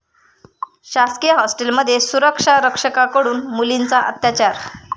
शासकीय हॉस्टेलमध्ये सुरक्षारक्षकाकडून मुलींचा अत्याचार